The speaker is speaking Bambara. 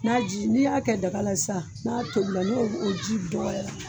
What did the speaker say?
N'a ji n'i y'a kɛ daga la sisan n'a tobila n'o ji dɔgɔyara